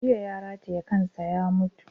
Jiya ya rataye kansa ya mutu